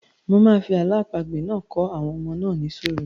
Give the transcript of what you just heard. Mo máa fi àlọ́ àpagbè náà kọ́ àwọn ọmọ náà ní sùúrù.